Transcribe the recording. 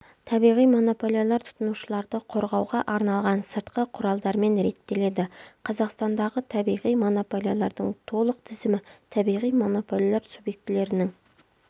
табиғи монополиялар тұтынушыларды қорғауға арналған сыртқы құралдармен реттеледі қазақстандағы табиғи монополиялардлың толық тізімі табиғи монополиялар субьектілерінің